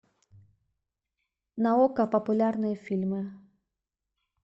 на окко популярные фильмы